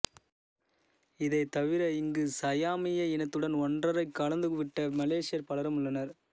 இதைத் தவிர இங்கு சயாமிய இனத்துடன் ஒன்றரக் கலந்துவிட்ட மலேசியர் பலரும் உள்ளனர்